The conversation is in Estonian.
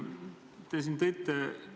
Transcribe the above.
Hea esineja!